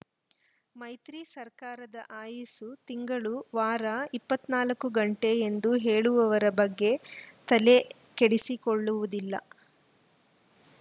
ಮೈತ್ರಿ ಸರ್ಕಾರದ ಆಯಿಸ್ಸು ತಿಂಗಳು ವಾರ ಇಪ್ಪತ್ತ್ ನಾಲ್ಕು ಗಂಟೆ ಎಂದು ಹೇಳುವವರ ಬಗ್ಗೆ ತಲೆ ಕೆಡಿಸಿಕೊಳ್ಳುವುದಿಲ್ಲ